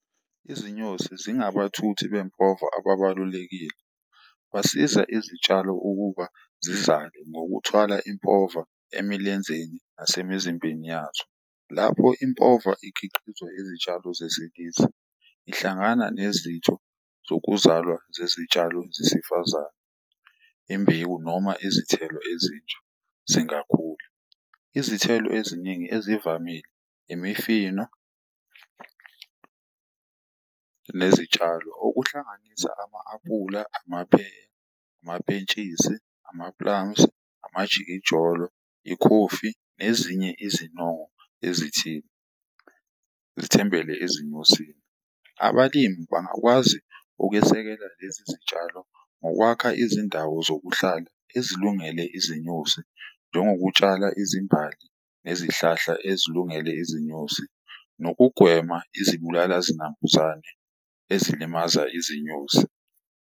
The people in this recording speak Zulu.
Izinyosi zingabathuthi bempova ababalulekile. Basiza izitshalo ukuba zizale ngokuthwala impova emilenzeni nasemzimbeni yazo. Lapho impova ikhiqiza izitshalo zesilisa ihlangana nezitho zokuzalwa zezitshalo zesifazane, imbewu noma izithelo ezintsha zingakhula. Izithelo eziningi ezivamile, imifino nezitshalo, okuhlanganisa ama-apula, amapheya, amapentshisi, ama-plums, amajikijolo, ikhofi nezinye izinongo ezithile zithembele ezinyosini. Abalimi bangakwazi ukwesekela lezi zitshalo ngokwakha izindawo zokuhlala ezilungele izinyosi, njengokutshala izimbali nezihlahla ezilungele izinyosi, nokugwema izibulala zinambuzane ezilimaza izinyosi.